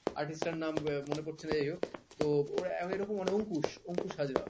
artist তার নাম মনে পড়ছে না যাই হোক তো ওরা আরো এরকম অংকুশ অংকুশ হাজরা